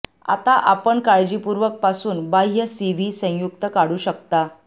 आता आपण काळजीपूर्वक पासून बाह्य सीव्ही संयुक्त काढू शकता